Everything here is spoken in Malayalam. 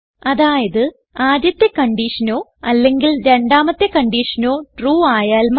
അതായത് ആദ്യത്തെ കൺഡിഷനോ അല്ലെങ്കിൽ രണ്ടാമത്തെ കൺഡിഷനോ ട്രൂ ആയാൽ മതി